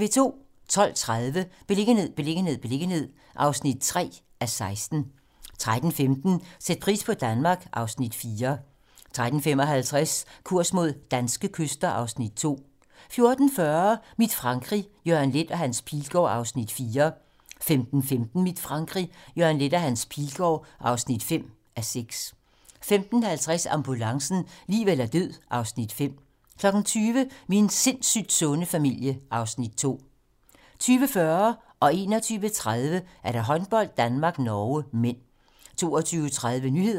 12:30: Beliggenhed, beliggenhed, beliggenhed (3:16) 13:15: Sæt pris på Danmark (Afs. 4) 13:55: Kurs mod danske kyster (Afs. 2) 14:40: Mit Frankrig - Jørgen Leth og Hans Pilgaard (4:6) 15:15: Mit Frankrig - Jørgen Leth og Hans Pilgaard (5:6) 15:50: Ambulancen - liv eller død (Afs. 5) 20:00: Min sindssygt sunde familie (Afs. 2) 20:40: Håndbold: Danmark-Norge (m) 21:30: Håndbold: Danmark-Norge (m) 22:30: Nyhederne